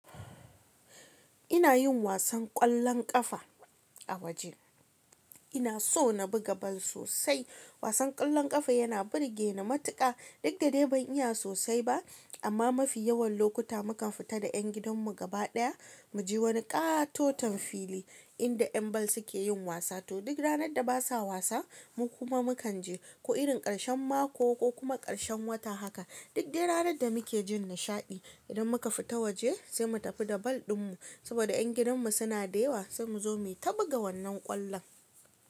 Ina yin wasan ƙwallon ƙafa a waje. Ina so na buga bal sosai. Wasan ƙwallon ƙafa yana burge ni matuƙa. Duk da dai ban iya sosai ba, amma mafi yawan lokuta mukan fita da ƴan gidanmu gaba ɗaya, mu je wani ƙatoton fili inda ƴan bal suke yin wasa. To duk ranar da ba sa wasa, mu kuma mukan je. Ko irin ƙarshen mako ko kuma ƙarshen wata haka. Duk dai ranar da muke jin nishaɗi idan muka fita waje sai mu tafi da bal ɗinmu saboda ƴan gidanmu suna dewa sai mu zo mu ta buga wannan ƙwallon.